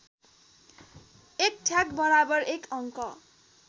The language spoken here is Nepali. १ ठ्याक बराबर १ अङ्क